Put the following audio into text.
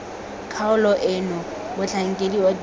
kgaolo eno motlhankedi wa dikopo